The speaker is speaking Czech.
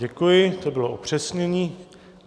Děkuji, to bylo upřesnění.